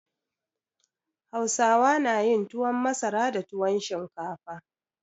Hausawa na yin tuwon masara da tuwon shinkafa.